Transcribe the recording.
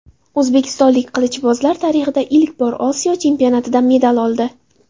O‘zbekistonlik qilichbozlar tarixda ilk bor Osiyo Chempionatida medal oldi.